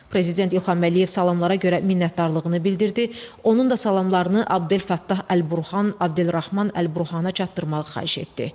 Prezident İlham Əliyev salamlara görə minnətdarlığını bildirdi, onun da salamlarını Abdel Fəttah Əl-Burhan, Abdelrahman Əl-Burhana çatdırmağı xahiş etdi.